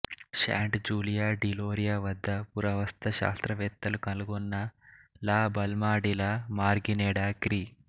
శాంట్ Julia de Loria వద్ద పురావస్తు శాస్త్రవేత్తలు కనుగొన్న La Balma de la Margineda క్రీ